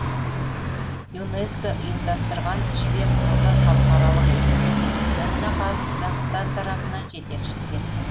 юнеско ұйымдастырған жібек жолы халықаралық экспедициясына қазақстан тарапынан жетекшілік етті